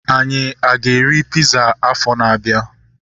Anyị a ga-eri piza afọa na-abịa?